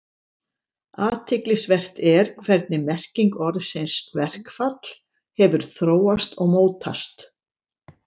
Athyglisvert er hvernig merking orðsins verkfall hefur þróast og mótast.